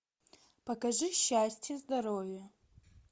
покажи счастье здоровье